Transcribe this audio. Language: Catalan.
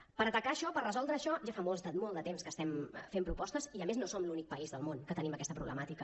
per atacar això per resoldre això ja fa molt de temps que estem fent propostes i a més no som l’únic país del món que tenim aquesta problemàtica